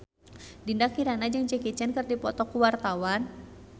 Dinda Kirana jeung Jackie Chan keur dipoto ku wartawan